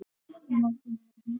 Nei, vinur minn!